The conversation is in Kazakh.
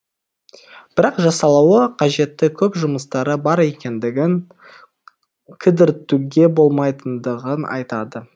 бірақ жасалуы қажетті көп жұмыстары бар екендігін кідіртуге болмайтындығын айтады